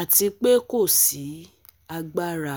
ati pe ko si agbara